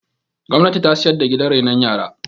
gwamnati ta siyar da gidan renon yara